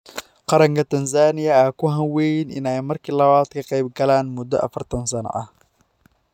Qaranka Tansaaniya ayaa ku hanweyn in ay markii labaad ka qaybgalaan muddo 40 sano ah.